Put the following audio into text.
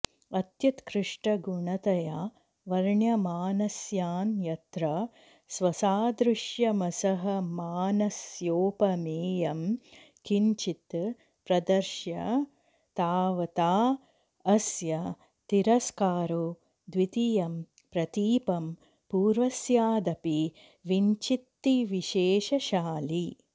अत्युत्कृष्टगुणतया वर्ण्यमानस्यान्यत्र स्वसादृश्यमसहमानस्योपमेयं किञ्चित् प्रदर्श्य तावता अस्य तिरस्कारो द्वितीयं प्रतीपं पूर्वस्यादपि विच्छित्तिविशेषशालि